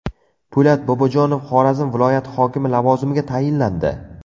Po‘lat Bobojonov Xorazm viloyati hokimi lavozimiga tayinlandi.